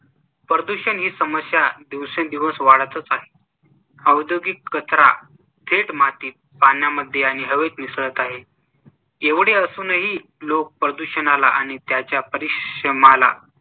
प्रदूषण ही समस्या दिवेसंदिवस वाढतच आहे, औद्योगिक कचरा थेट मातीत, पाण्यामध्ये आणि हवेत मिसळत आहे. एवढे असूनही लोक प्रदूषणाला आणि त्याच्या परिश्रमाला